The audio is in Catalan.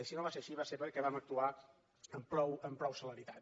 i si no va ser així va ser perquè vam actuar amb prou celeritat